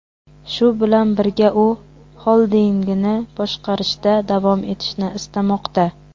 Shu bilan birga, u xoldingini boshqarishda davom etishni istamoqda.